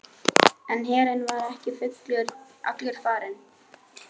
En herinn var ekki allur farinn.